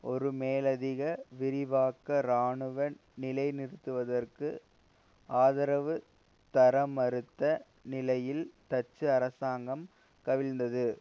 ஒரு மேலதிக விரிவாக்க இராணுவ நிலைநிறுத்தத்திற்கு ஆதரவு தரமறுத்த நிலையில் டச்சு அரசாங்கம் கவிழ்ந்தது